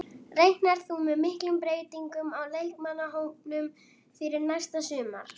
Reiknar þú með miklum breytingum á leikmannahópnum fyrir næsta sumar?